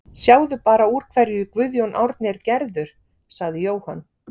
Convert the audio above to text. Sjáðu bara úr hverju Guðjón Árni er gerður, sagði Jóhann.